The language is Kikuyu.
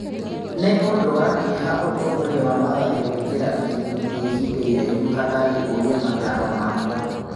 "Nĩ ũndũ wa kĩ eha ũtongoria wa Mathare gwĩ kĩ ra ngirimiti ya ihinda iraihu hatarĩ kũria mataro makwa"